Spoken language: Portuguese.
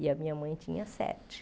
E a minha mãe tinha sete.